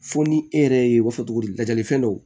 Fo ni e yɛrɛ ye o fɔ cogo di lajɛlifɛn dɔw